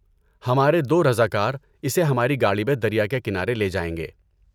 ہمارے دو رضاکار اسے ہماری گاڑی میں دریا کے کنارے لے جائیں گے۔